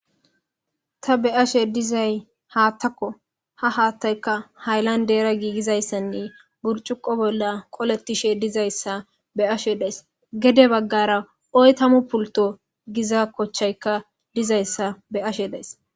Ta be ashe dizay haattakko ha haattayka haylan deera giigizayssanne burcuqo bolla qolettishe dizayssa be ashe days gede baggara oytamu pulto giza kochchayka dizayssa be ashe dayss